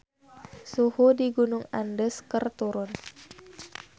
Suhu di Gunung Andes keur turun